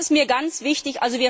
Das ist mir ganz wichtig.